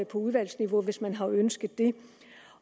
på udvalgsniveau hvis man har ønsket det